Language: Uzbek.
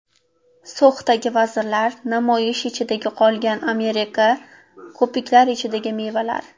So‘xdagi vazirlar, namoyishlar ichida qolgan Amerika, ko‘piklar ichidagi mevalar.